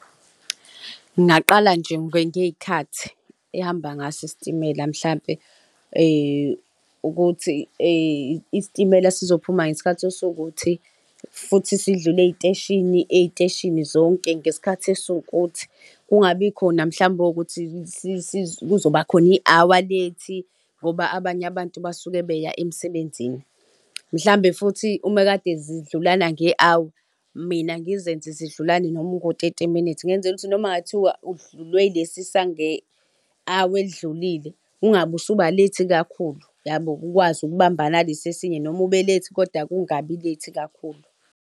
Ngingaqala nje ngey'khathi ehamba ngaso isitimela mhlampe ukuthi istimela sizophuma ngesikhathi esiwukuthi, futhi sidlule ey'teshini, ey'teshini zonke ngesikhathi esiwukuthi, kungabikhona mhlawumbe ukuthi kuzoba khona i-hour late, ngoba abanye abantu basuke beya emsebenzini. Mhlawumbe futhi uma kade zidlulana nge-hour, mina ngizenze zidlulane noma ungo-thirty minutes ngenzela ukuthi noma kungathiwa udlulwe ilesi sange-hour elidlulile, ungabe usuba late kakhulu, uyabo? Ukwazi ukubambana nalesi esinye, noma ube-late kodwa ungabi-late kakhulu.